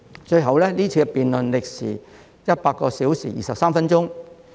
最後，該項辯論歷時100小時23分鐘。